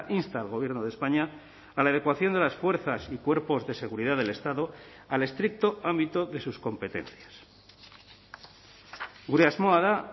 insta al gobierno de españa a la adecuación de las fuerzas y cuerpos de seguridad del estado al estricto ámbito de sus competencias gure asmoa da